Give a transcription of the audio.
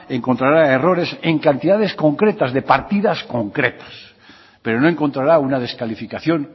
encontrará errores en cantidades concretas de partidas concretas pero no encontrará una descalificación